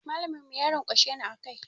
Mallamin mu ya ranƙwashe ni a kai.